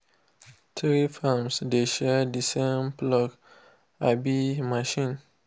three farms dey share the same plough um machine.